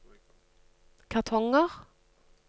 kartonger